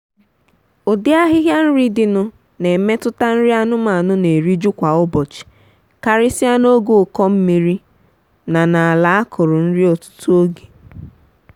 ụdị ahịhịa nri dị nụ na emetụta nri anụmanụ na-eriju kwa ụbọchị karịsịa n’oge ụkọ mmiri na n’ala a kụrụ nri ọtụtụ oge.